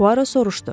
Poaro soruşdu.